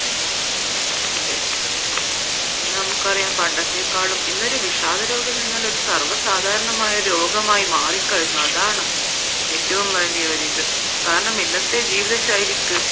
അതേ ഇന്ന് നമ്മൾക്കറിയാം പണ്ടത്തെക്കാളും ഇന്നൊരു വിഷാദ രോഗമെന്നാൽ സർവ്വ സാധാരണമായ ഒരു രോഗമായി മാറി കഴിഞ്ഞു അതാണ് ഏറ്റവും വലിയൊരു ഇത് കാരണം ഇന്നത്തെ ജീവിതശൈലിക്ക്